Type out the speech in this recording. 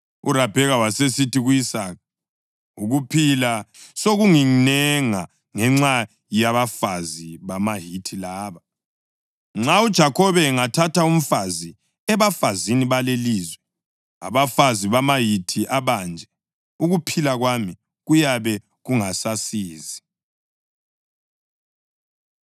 URabheka wasesithi ku-Isaka, “Ukuphila sokunginenga ngenxa yabafazi bamaHithi laba. Nxa uJakhobe engathatha umfazi ebafazini balelilizwe, abafazi bamaHithi abanje, ukuphila kwami kuyabe kungasasizi.”